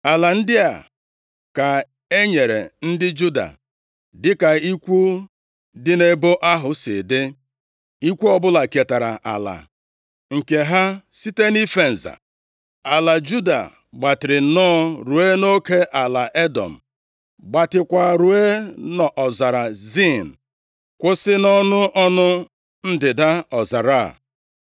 Ala ndị a ka e nyere ndị Juda dịka ikwu dị nʼebo ahụ si dị. Ikwu ọbụla ketara ala nke ha site nʼife nza. Ala Juda gbatịrị nnọọ ruo nʼoke ala Edọm, gbatịakwa ruo nʼọzara Zin, kwụsị nʼọnụ ọnụ ndịda ọzara a.